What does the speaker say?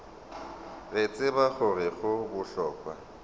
re tseba gore go bohlokwa